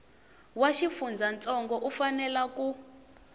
wa xifundzantsongo u fanela ku